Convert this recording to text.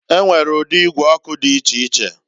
E nwere udi igwe ọkụ di icheiche.